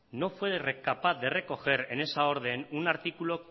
no fue capaz de recoger en esa orden un artículo